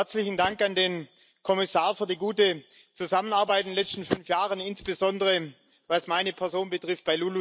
Herzlichen Dank an den Kommissar für die gute Zusammenarbeit in den letzten fünf Jahren, insbesondere was meine Person betrifft.